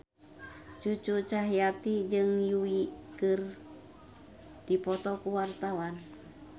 Cucu Cahyati jeung Yui keur dipoto ku wartawan